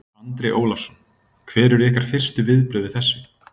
Andri Ólafsson: Hver eru ykkar fyrstu viðbrögð við þessu?